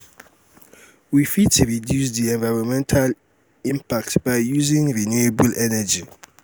we fit reduce di environmental um impact by using um renewable energy